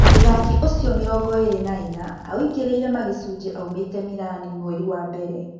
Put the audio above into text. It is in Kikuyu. Mũthaki ũcio, mĩrongoĩrĩ na ĩna aingĩrire Magicunji aumĩte Mĩrani mweri wa mbere.